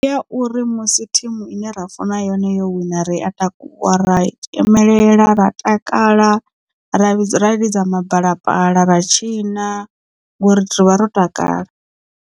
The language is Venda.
Ndi ya uri musi thimu ine ra funa yone yo wina ri a takuwa ra tzhemelela ra takala ra lidza mabalapala ra tshina ngori rivha ro takala.